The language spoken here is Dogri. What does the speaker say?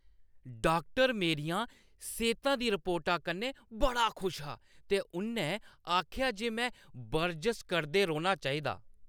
डाक्टर मेरियें सेह्‌ता दी रिपोर्टा कन्नै बड़ा खुश हा ते उʼन्नै आखेआ जे में बरजश करदे रौह्‌ना चाहिदा।